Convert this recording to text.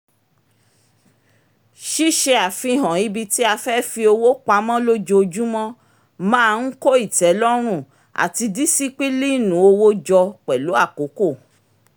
ṣíṣe àfihàn ibi tí a fẹ́ fi owó pamọ́ lójójúmọ́ máa ń kó ìtẹ́lọ́run àti dísípílíìnù owó jọ pẹ̀lú àkókò